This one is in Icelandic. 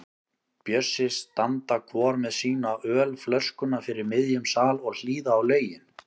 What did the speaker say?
Bjössi standa hvor með sína ölflöskuna fyrir miðjum sal og hlýða á lögin.